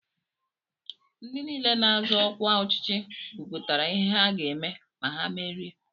Ndị nile na-azọ ọkwa ọchịchị kwụpụtara ihe ha ga-eme ma ha merie.